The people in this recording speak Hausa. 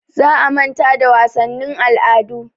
Za a manta da wasannin al'adu.